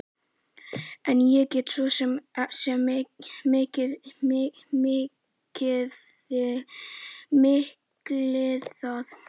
En ég get svo sem skilið það.